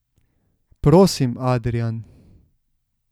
Prosim, Adrijan.